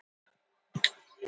Klukkan var að nálgast miðnætti.